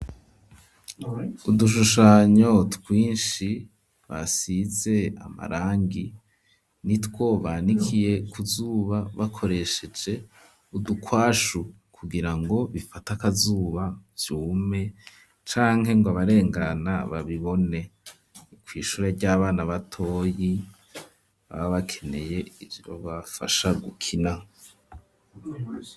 Udushushanyo twinshi basize amarangi, nitwo banikiye ku zuba bakoresheje udukwashu, kugira ngo bifate akazuba vyume, canke ngo abarengana babibone; kw'ishure ry'abana batoyi, baba bakeneye ivyobafasha gukina.